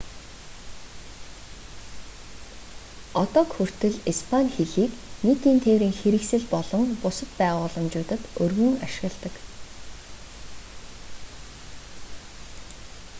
одоог хүртэл испани хэлийг нийтийн тээврийн хэрэгсэл болон бусад байгууламжуудад өргөн ашигладаг